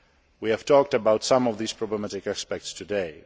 We have talked about some of these problematic aspects today.